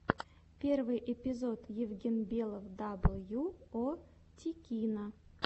первый эпизод евгенбелов дабл ю о тикино